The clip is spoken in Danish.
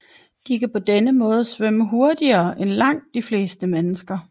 De kan på denne måde svømme hurtigere end langt de fleste mennesker